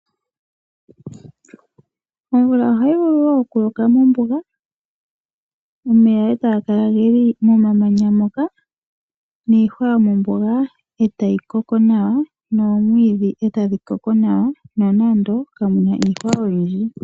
Omvula ohayi vulu wo okuloka mombuga omeya etaga kala geli momamanya moka niihwa yomombuga etayi koko nawa noomwiidhi etadhi koko nawa nonando kamu na iihwa oyindji.